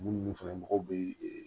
Munnu fɛnɛ mɔgɔw be ee